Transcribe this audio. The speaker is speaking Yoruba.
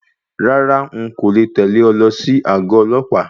Rárá,n kò le tẹ̀lẹ́ ọ lọ sí àgọ ọlọ́pàá.